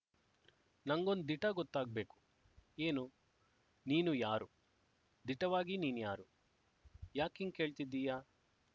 ನಂಗೊಂದ್ ದಿಟ ಗೊತ್ತಾಗ್ಬೇಕು ಏನು ನೀನು ಯಾರು ದಿಟವಾಗಿ ನೀನ್ ಯಾರು ಯಾಕಿಂಗ್ ಕೇಳ್ತಿದ್ದೀಯ